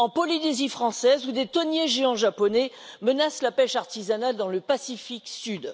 En Polynésie française, où des thoniers géants japonais menacent la pêche artisanale dans le Pacifique Sud.